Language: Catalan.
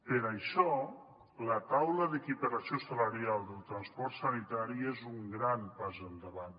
per això la taula d’equiparació salarial del transport sanitari és un gran pas endavant